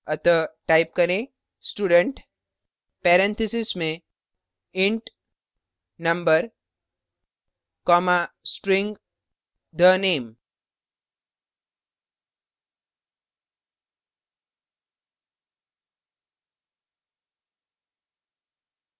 अतः type करें student parentheses में int number comma string the _ name